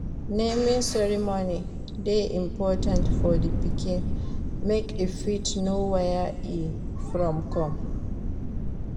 Naming ceremony de important for di pikin make e fit know where e from come